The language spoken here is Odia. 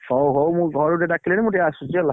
ହଉ ହଉ ଘରେ ଡାକିଲେଣି ମୁ ଟିକେ ଆସୁଛି ହେଲା।